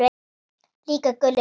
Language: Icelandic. Líka Gulli lögga.